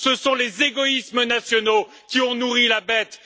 Ce sont les égoïsmes nationaux qui ont nourri la bête!